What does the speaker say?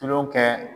Tulon kɛ